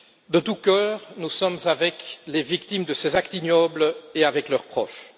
De tout cœur, nous sommes avec les victimes de ces actes ignobles et avec leurs proches.